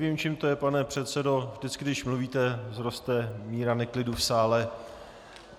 Nevím, čím to je, pane předsedo, vždycky když mluvíte, vzroste míra neklidu v sále.